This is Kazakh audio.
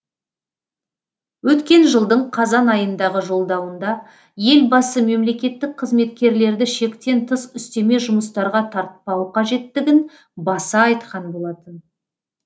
өткен жылдың қазан айындағы жолдауында елбасы мемлекеттік қызметкерлерді шектен тыс үстеме жұмыстарға тартпау қажеттігін баса айтқан болатын